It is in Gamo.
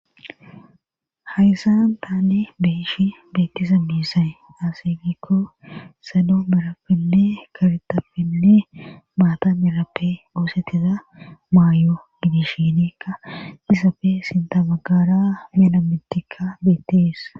hayssan taane beishi beettisa miisaye asegikko salo merappinne kartappinne maata merappe goosettiza maayo gidishinekka isapfe sinta bagara mela mittikka beettees